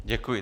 Děkuji.